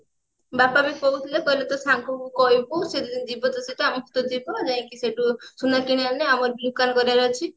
ବାପା ବି କହୁଥିଲେ କହିଲେ ତୋ ସାଙ୍ଗ କୁ କହିବୁ ସେ ଯଦି ଯିବ ତୋ ସହିତ ଆମେ ବି ତ ଯିବୁ ଯାଇଙ୍କି ସେତୁ ସୁନା କିଣିଆଣିଲେ ଆମର ବି ଦୋକାନ କରିବାର ଅଛି